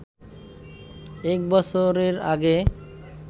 এক বছরের আগে